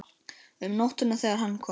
Um nóttina þegar hann kom.